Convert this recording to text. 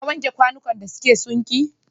Ka wanke kwanukan da suke sinki?